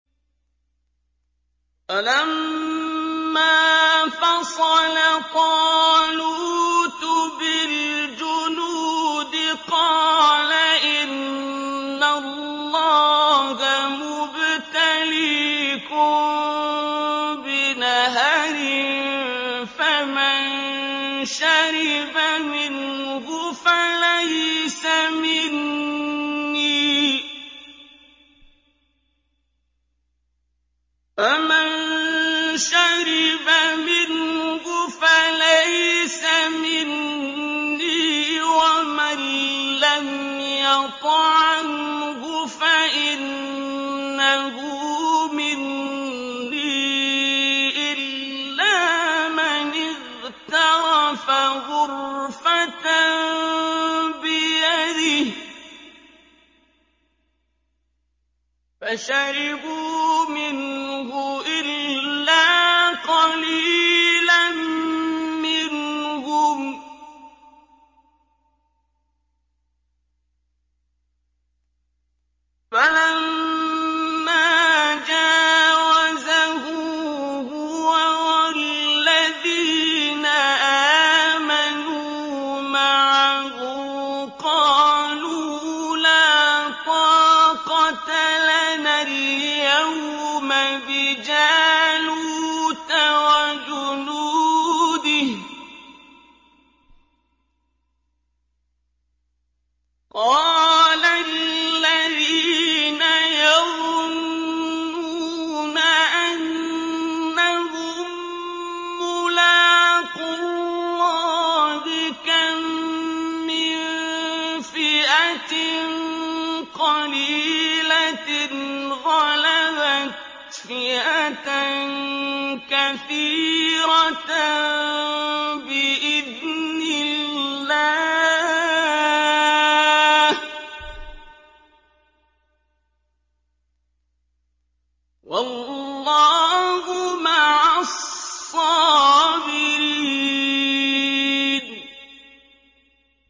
فَلَمَّا فَصَلَ طَالُوتُ بِالْجُنُودِ قَالَ إِنَّ اللَّهَ مُبْتَلِيكُم بِنَهَرٍ فَمَن شَرِبَ مِنْهُ فَلَيْسَ مِنِّي وَمَن لَّمْ يَطْعَمْهُ فَإِنَّهُ مِنِّي إِلَّا مَنِ اغْتَرَفَ غُرْفَةً بِيَدِهِ ۚ فَشَرِبُوا مِنْهُ إِلَّا قَلِيلًا مِّنْهُمْ ۚ فَلَمَّا جَاوَزَهُ هُوَ وَالَّذِينَ آمَنُوا مَعَهُ قَالُوا لَا طَاقَةَ لَنَا الْيَوْمَ بِجَالُوتَ وَجُنُودِهِ ۚ قَالَ الَّذِينَ يَظُنُّونَ أَنَّهُم مُّلَاقُو اللَّهِ كَم مِّن فِئَةٍ قَلِيلَةٍ غَلَبَتْ فِئَةً كَثِيرَةً بِإِذْنِ اللَّهِ ۗ وَاللَّهُ مَعَ الصَّابِرِينَ